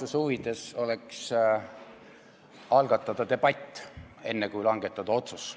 Aususe huvides oleks algatada debatt, enne kui langetada otsus.